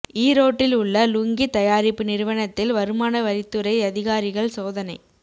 ஈரோட்டில் உள்ள லுங்கி தயாரிப்பு நிறுவனத்தில் வருமான வரித்துறை அதிகாரிகள் சோதனை